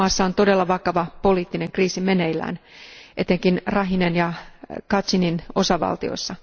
Maassa on todella vakava poliittinen kriisi meneillään etenkin Rakhinen ja Kachinin osavaltioissa.